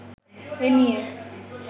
এ নিয়ে